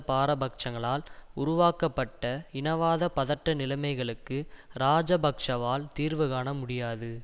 பாரபட்சங்களால் உருவாக்கப்பட்ட இனவாத பதட்ட நிலைமைகளுக்கு இராஜபக்ஷவால் தீர்வு காண முடியாது